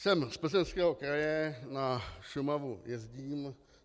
Jsem z Plzeňského kraje, na Šumavu jezdím.